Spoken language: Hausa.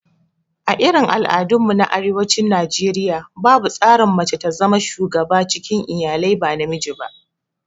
A irin al'adun mu na arewacin Najeriaya, babu tsarin mace ta zama shuga cikin iyalai ba namiji ba